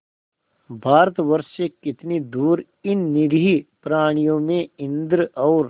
भारतवर्ष से कितनी दूर इन निरीह प्राणियों में इंद्र और